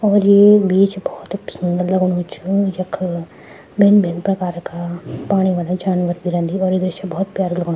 और येक बीच भौत फिंग लगणू छ जख भिन्न भिन्न प्रकार का पाणी वाला जानवर भी रैंदी और ये दृश्य भौत प्यारु लगणु।